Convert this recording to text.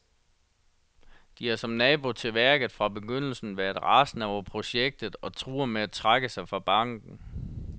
De har, som nabo til værket, fra begyndelsen været rasende over projektet og truer med at trække sig fra banken.